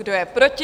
Kdo je proti?